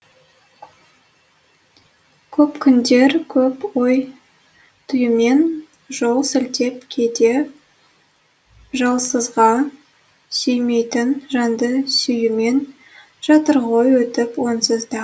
көп күндер көп ой түюмен жол сілтеп кейде жолсызға сүймейтін жанды сүюмен жатыр ғой өтіп онсыз да